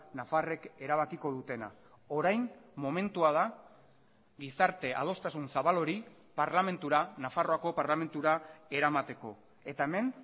nafarrek erabakiko dutena orain momentua da gizarte adostasun zabal hori parlamentura nafarroako parlamentura eramateko eta hemen